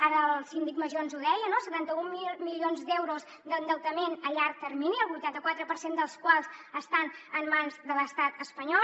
ara el síndic major ens ho deia no setanta mil milions d’euros d’endeutament a llarg termini el vuitanta quatre per cent dels quals estan en mans de l’estat espanyol